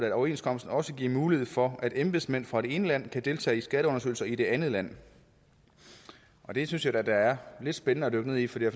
at overenskomsten også giver mulighed for at embedsmænd fra det ene land kan deltage i skatteundersøgelser i det andet land det synes jeg da er lidt spændende at dykke ned i for det